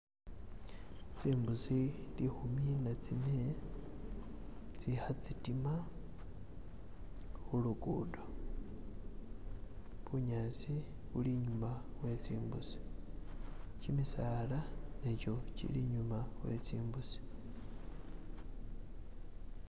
tsimbusi lihuminatsine tsiha tsitima hulugudo bunyasi buli inyuma wetsimbusi chimisaala nacho chili inyuma wetsimbusi